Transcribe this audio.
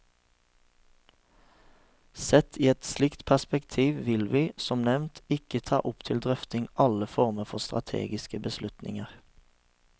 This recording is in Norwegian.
Sett i et slikt perspektiv vil vi, som nevnt, ikke ta opp til drøfting alle former for strategiske beslutninger.